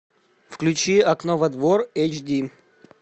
включи окно во двор эйч ди